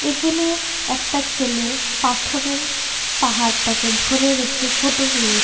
এখেনে একটা ছেলে পাথরের পাহাড়টাকে ধরে রেখে ফটো তুলে--